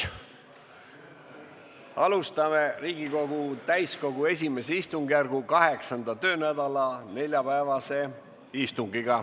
Alustame Riigikogu täiskogu I istungjärgu 8. töönädala neljapäevast istungit.